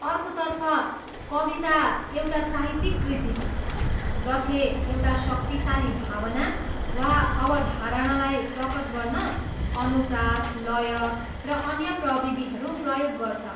अर्कोतर्फ, कविता, एउटा साहित्यिक कृति हो जसले एउटा शक्तिशाली भावना वा अवधारणालाई प्रकट गर्न अनुप्रास, लय र अन्य प्रविधिहरू प्रयोग गर्छ।